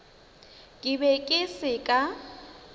ke be ke se ka